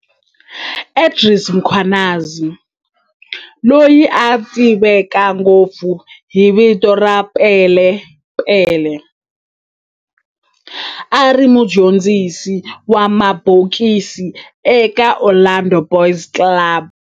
Andries Mkhwanazi, loyi a tiveka ngopfu hi vito ra"Pele Pele", a ri mudyondzisi wa mabokisi eka Orlando Boys Club